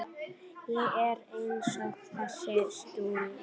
Ég er einsog þessi stúlka.